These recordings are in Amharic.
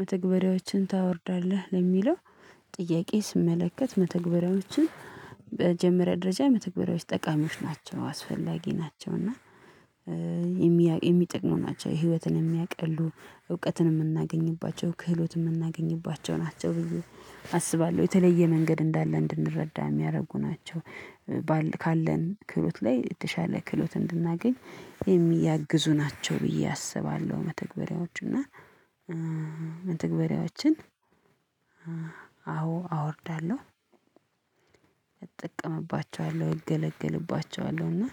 መተግበሪያዎችን ታወርዳለህ ለሚለው ጥያቄ ስመለከት መተግበሪያዎችን በመጀመርያ ደረጃ መተግበሪያዎች ጠቃሚዎች ናቸው አስፈላጊ ናቸው እና የሚጠቅሙ ናቸው ህይወትን የሚያቀሉ እውቀትን የምናገኝባቸው ክህሎት የምናገኝባቸው ናቸው ብዬ አስባለሁ የተለየ መንገድ እንዳለ እንድንረዳ የሚያደርጉ ናቸው። ካለን ክህሎት ላይ የተሻለ ክህሎት እንድናገኝ የሚያግዙ ናቸው ብዬ አስባለሁ። መተግበሪያዎቹ እና መተግበሪያዎችን አዎ አወርዳለሁ እጠቀምባቸዋለሁ እገለግልባቸዋለሁ እና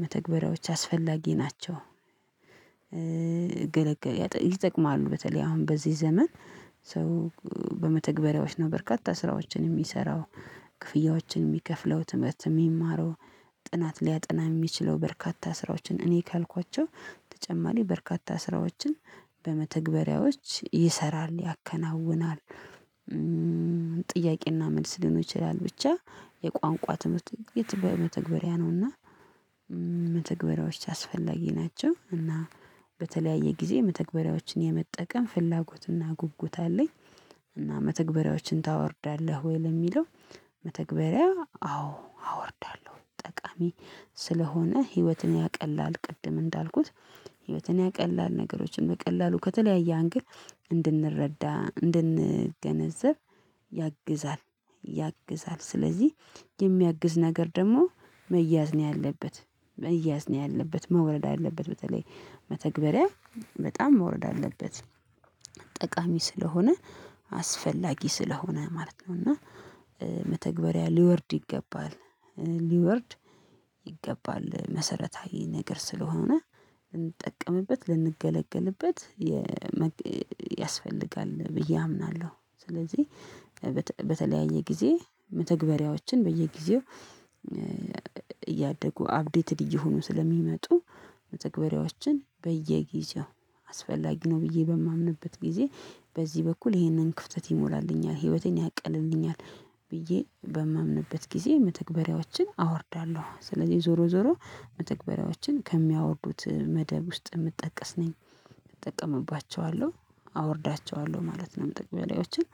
መተግበሪያዎች አስፈላጊ ናቸው። እገለገል ይጠቅማሉ በተለይ አሁን በዚህ ዘመን ሰው በመተግበሪያዎች ነው በርካታ ስራዎችን የሚሰራው ክፍያዎችን የሚከፍለው ትምህርት የሚማረው ጥናት ሊያጠና የሚችለው በርካታ ስራዎችን እኔ ካልኳቸው ተጨማሪ በርካታ ስራዎችን በመተግበሪያዎች ይሰራል ያከናውናል። ጥያቄና መልስ ሊኖር ይችላል ብቻ የቋንቋ ትምህርት በመተግበሪያ ነውና። መተግበሪያዎች አስፈላጊ ናቸው እና በተለያየ ጊዜ መተግበሪያዎችን የመጠቀም ፍላጎትና ጉጉት አለኝ። እና መተግበሪያዎችን ታወርዳለህ ወይ ለሚለው? መተግበሪያ አዎ አወርዳለሁ። ጠቃሚ ስለሆነ ህይወትን ያቀላል ቅድም እንዳልኩት ህይወትን ያቀላል ነገሮችን በቀላሉ ከተለያየ አንግል እንድንረዳ እንድንገነዘብ ያግዛል ያግዛል። ስለዚህ የሚያግዝ ነገር ደግሞ መያዝ ነው ያለበት መያዝ ነው ያለበት መውረድ አለበት በተለይ መተግበሪያ በጣም መውረድ አለበት። ጠቃሚ ስለሆነ አስፈላጊ ስለሆነ ማለት ነው። እና መተግበሪያ ሊወርድ ይገባል ሊወርድ ይገባል። መሰረታዊ ነገር ስለሆነ ልንጠቀምበት ልንገለገልበት የ ያስፈልጋል ብዬ አምናለሁ። ስለዚህ በተለያየ ጊዜ መተግበሪያዎችን በየጊዜው እያደጉ አፕዴትድ እየሆኑ ስለሚመጡ መተግበርያዎችን በየጊዜው አስፈላጊ ነው ብዬ በማምንበት ጊዜ በዚህ በኩል ይሄንን ክፍተት ይሞላልኛል ህይወቴን ያቀልልኛል ብዬ በማምንበት ጊዜ መተግበሪያዎችን አወርዳለሁ። ስለዚህ ዞሮ ዞሮ መተግበሪያዎችን ከሚያወርዱት መደብ ውስጥ የምጠቀስ ነኝ እጠቀምባቸዋለሁ አወርዳቸዋለሁ ማለት ነው። መተግበርያዎችን